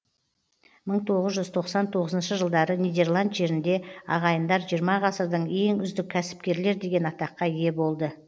мың тоғыз жүз тоқсан тоғызыншы жылдары нидерланд жерінде ағайындар жиырма ғасырдың ең үздік кәсіпкерлер деген атаққа ие болады